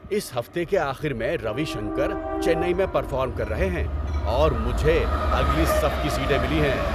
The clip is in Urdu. اس ہفتے کے آخر میں روی شنکر چنئی میں پرفارم کر رہے ہیں اور مجھے اگلی صف کی سیٹیں ملی ہیں!